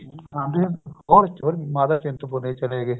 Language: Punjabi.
ਹਾਂਜੀ ਹੋਰ ਮਾਤਾ ਚਿੰਤਪੁਰਨੀ ਚਲੇ ਗਏ